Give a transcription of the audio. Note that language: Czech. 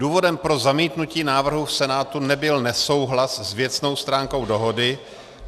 Důvodem pro zamítnutí návrhu v Senátu nebyl nesouhlas s věcnou stránku dohody.